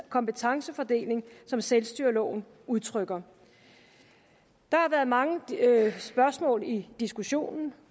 kompetencefordeling som selvstyreloven udtrykker der har været mange spørgsmål i diskussionen